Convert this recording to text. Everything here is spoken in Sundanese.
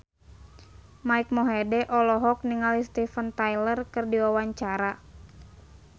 Mike Mohede olohok ningali Steven Tyler keur diwawancara